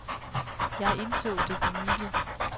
Jeg indså det for nylig.